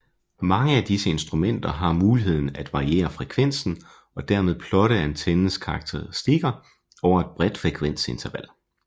Mange af disse instrumenter har muligheden at variere frekvensen og dermed plotte antennens karakteristikker over et bredt frekvensinterval